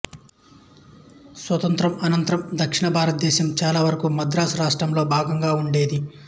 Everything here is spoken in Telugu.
స్వాతంత్ర్యానంతరం దక్షిణ భారతదేశం చాలావరకు మద్రాసు రాష్ట్రంలో భాగంగా ఉండేది